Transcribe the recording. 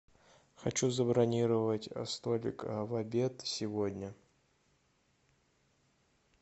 хочу забронировать столик в обед сегодня